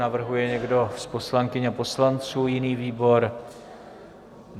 Navrhuje někdo z poslankyň a poslanců jiný výbor?